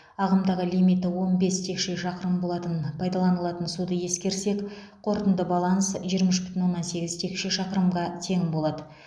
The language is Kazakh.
ағымдағы лимиті он бес текше шақырым болатын пайдаланылатын суды ескерсек қорытынды баланс жиырма үш бүтін оннан сегіз текше шақырымға тең болады